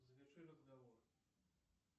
заверши разговор